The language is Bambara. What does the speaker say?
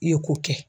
I ye ko kɛ